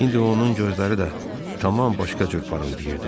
İndi onun gözləri də tam başqa cür parıldayırdı.